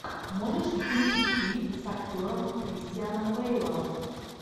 можешь включить фильм с актером кристианом бейлом